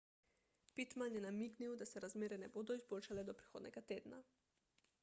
pittman je namignil da se razmere ne bodo izboljšale do prihodnjega tedna